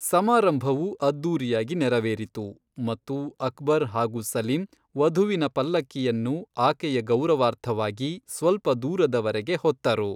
ಸಮಾರಂಭವು ಅದ್ದೂರಿಯಾಗಿ ನೆರವೇರಿತು, ಮತ್ತು ಅಕ್ಬರ್ ಹಾಗೂ ಸಲೀಂ, ವಧುವಿನ ಪಲ್ಲಕ್ಕಿಯನ್ನು ಆಕೆಯ ಗೌರವಾರ್ಥವಾಗಿ ಸ್ವಲ್ಪ ದೂರದವರೆಗೆ ಹೊತ್ತರು.